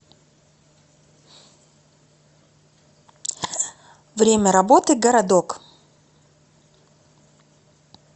время работы городок